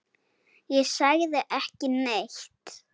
Ég sagði ekki neitt.